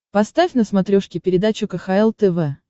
поставь на смотрешке передачу кхл тв